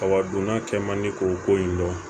A wa donna cɛman di o ko in dɔn